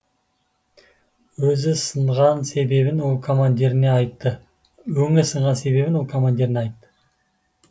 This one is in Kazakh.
өзі сынған себебін ол командиріне айтты өңі сынған себебін ол командиріне айтты